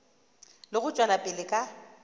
le go tšwela pele ka